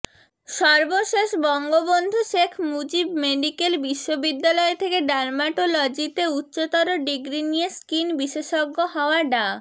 সর্বশেষ বঙ্গবন্ধু শেখ মুজিব মেডিকেল বিশ্ববিদ্যালয় থেকে ডার্মাটোলজিতে উচ্চতর ডিগ্রি নিয়ে স্কিন বিশেষজ্ঞ হওয়া ডা